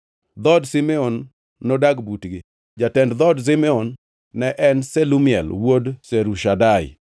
Dhood Simeon nodag butgi. Jatend dhood Simeon ne en Shelumiel wuod Zurishadai.